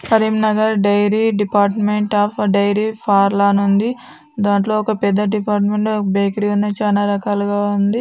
Karimnagar dairy department of dairy ఫార్ల అనిఉంది . దంట్లో ఒక పెద్ద డిపార్ట్మెంట్ బేకరి ఉంది. చాన రకాలుగా ఉంది.